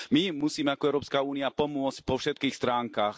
My im musíme, ako Európska únia, pomôcť po všetkých stránkach.